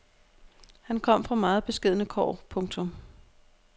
Han kom fra meget beskedne kår. punktum